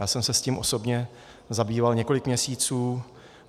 Já jsem se s tím osobně zabýval několik měsíců.